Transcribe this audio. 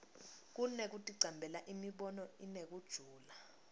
kunekuticambela imibono inekujula